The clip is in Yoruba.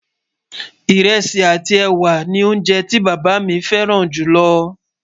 írèsì àti ẹwà ní oúnjẹ tí bàbá mí fẹràn jù ló